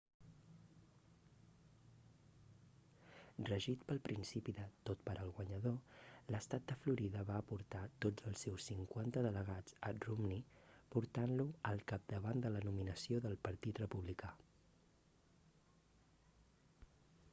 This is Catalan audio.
regit pel principi de tot per al guanyador l'estat de florida va aportar tots els seus cinquanta delegats a romney portant-lo al capdavant de la nominació del partit republicà